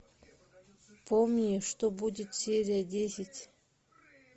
помни что будет серия десять